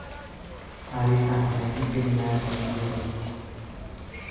алиса найди криминальное чтиво